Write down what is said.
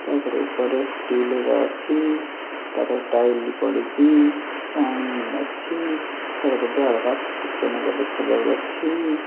ତା ପରେ ଉପରେ ଷ୍ଟିଲ ର ଅଛି ତା ପରେ ଟାଇଲ୍ ପଡ଼ିଚି ପାଣି ଅଛି ତା ପରେ ଝରକାସ୍ ଟିକେ ନାକୁରୁ ଦେଖାଯାଉ ଅଛି।